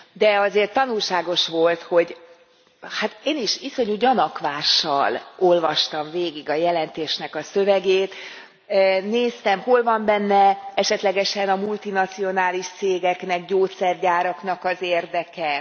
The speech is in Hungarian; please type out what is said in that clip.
De azért tanulságos volt, hogy hát én is iszonyú gyanakvással olvastam végig a jelentés szövegét, néztem, hol van benne esetlegesen a multinacionális cégeknek, gyógyszergyáraknak az érdeke.